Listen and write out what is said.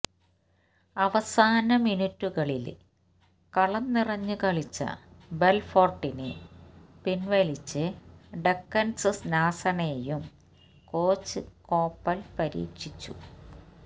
അവസാന മിനിറ്റുകളില് കളംനിറഞ്ഞു കളിച്ച ബെല്ഫോര്ട്ടിനെ പിന്വലിച്ച് ഡക്കന്സ് നാസണെയും കോച്ച് കോപ്പല് പരീക്ഷിച്ചു